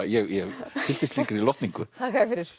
ég fylltist slíkri lotningu þakka þér fyrir